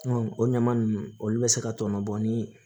o ɲaman nunnu olu bɛ se ka tɔɔnɔ bɔ ni